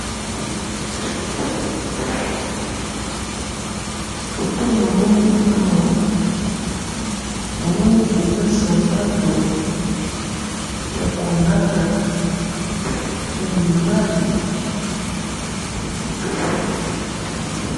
photo namoni awa, namoni eza sapato ya ko lata, ya mibali, ya kitoko